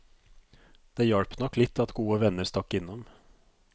Det hjalp nok litt at gode venner stakk innom.